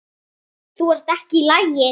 Þú ert ekki í lagi.